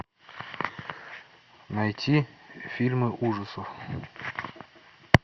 найти фильмы ужасов